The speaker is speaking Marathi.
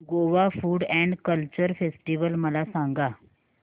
Goa food and culture festival मला सांगा